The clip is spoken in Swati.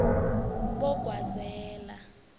bogwazela